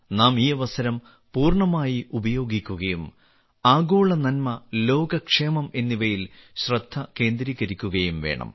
നാം ഈ അവസരം പൂർണ്ണമായി ഉപയോഗിക്കുകയും ആഗോള നന്മ ലോകക്ഷേമം എന്നിവയിൽ ശ്രദ്ധ കേന്ദ്രീകരിക്കുകയും വേണം